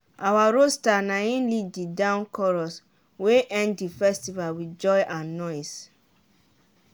our rooster naim lead the dawn chorus wey end the festival with joy and noise.